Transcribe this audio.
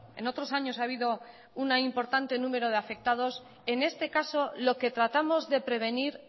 en otros años ha habido un importante número de afectados en este caso lo que tratamos de prevenir